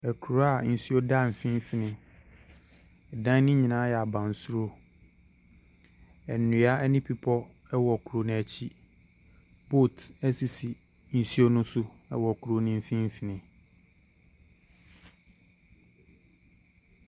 Akura a nsuo da mfimfini. Dan no nyinaa yɛ abansoro. Nnua ne bepɔ wɔ kurɔ no akyi. Boat sisi nsuo no so wɔ kuro no mfimfini.